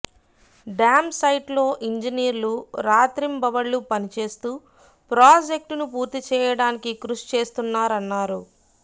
dam సైట్లో ఇంజనీర్లు రాత్రింభవళ్లు పనిచేస్తూ ప్రాజెక్టును పూర్తిచేయడానికి కృషి చేస్తున్నారన్నారు